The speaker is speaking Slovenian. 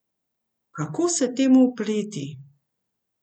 Kako se temu upreti?